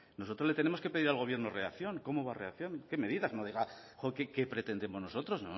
nosotros le tenemos que pedir al gobierno reacción cómo va a reaccionar qué medidas no diga qué pretendemos nosotros